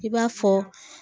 I b'a fɔ